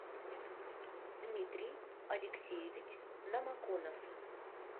дмитрий алексеевич намаконов